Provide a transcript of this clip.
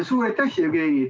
Suur aitäh, Jevgeni!